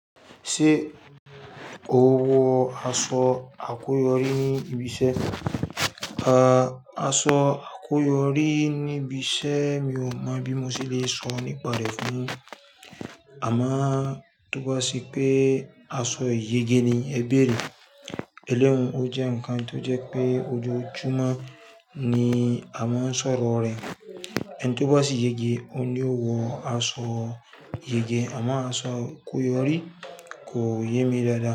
Ṣé o wọ aṣọ àkóyorí ní ibi iṣẹ́? A, aṣọ àkóyorí ní ibi iṣẹ́ mi ò mọ̀ bí mo ṣe le sọ nípa rẹ̀ fún ọ. Àmáà túbọ̀ sí pé aṣọ ìyege ni ẹ ń béèrè. Ẹlẹ́wọ̀n ó jẹ́ ǹkan tó jẹ́ pé ojoojúmọ́ ni a máa ń sọ̀rọ̀ rẹ̀. Ẹni tó bá sì yege, òun ni ó wọ aṣọ ìyege. Àmo aṣọ àkóyorí kò yé mi dáadáa.